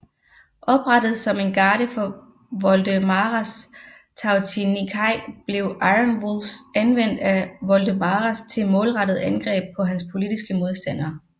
Oprettet som en garde for Voldemaras Tautininkai blev Iron Wolves anvendt af Voldemaras til målrettede angreb på hans politiske modstandere